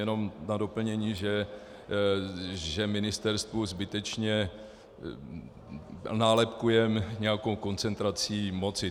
Jenom na doplnění, že ministerstvo zbytečně nálepkujeme nějakou koncentrací moci.